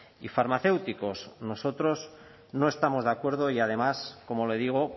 y farmacéuticos nosotros no estamos de acuerdo y además como le digo